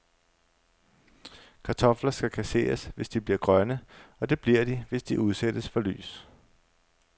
Kartofler skal kasseres, hvis de bliver grønne, og det bliver de, hvis de udsættes for lys.